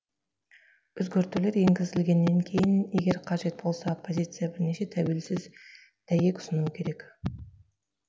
өзгертулер енгізілгеннен кейін егер қажет болса оппозиция бірнеше тәуелсіз дәйек ұсынуы керек